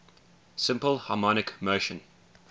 simple harmonic motion